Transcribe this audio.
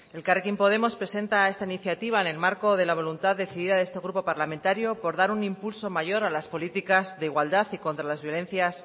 elkarrekin podemos presenta esta iniciativa en el marco de la voluntad decidida de este grupo parlamentario por dar un impulso mayor a las políticas de igualdad y contra las violencias